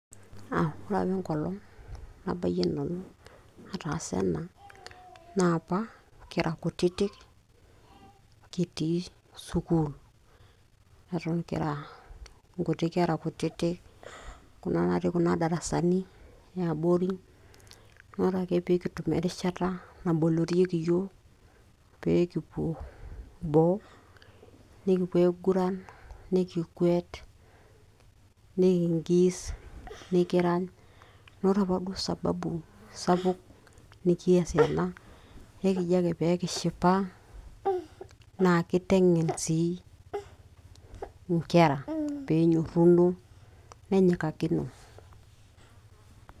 ore apa enkolong nabayie nanu ataasa ena naa apa kira kutitik kitii sukuul eton kira nkuti kera kutitik kuna natii kuna darasai ee abori naa ore ake peyie kitum erishata nabolorieki yiook peyie kipuo boo nikipuo aiguran, nikikwet, nikingis nikirany. Naa ore apa duo sababu sapuk nikiasie ena naa ekijio ake pee kishipa naa kiteng`en sii nkera pee enyorruno nenyikakino.